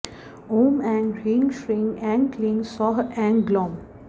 ॐ ऐं ह्रीं श्रीं ऐं क्लीं सौः ऐं ग्लौम्